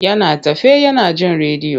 Yana tafe yana jin rediyo.